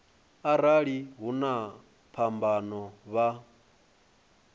arali hu na phambano vha